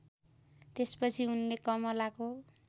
त्यसपछि उनले कमलाको